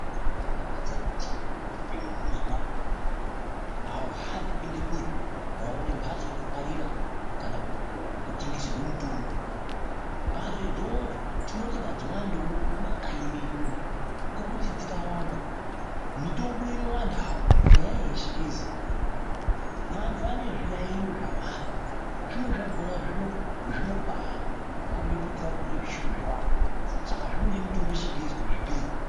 Zvinobaadakadza kuti wabude mumuzi mako awuhambi kuende kure wawone mhatso inongwarira kana inotengeswerwe mutombo ,mhatso idzodzo tinoti ngadziwandewo mumakanyi medu umu ngokuti dzikawanda mitombo inowandawo kunyanyanya yechingezi iyi vanhu vane zviyayiyo zvawanda zvimweni zvakaona zvinobakombe kuti varikurye zvechiyungu zvawanda saka zvinode mitombo yechingezi kuti zvipere.